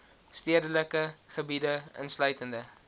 stedelike gebiede insluitende